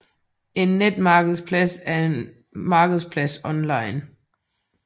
En netmarkedsplads er en markedsplads online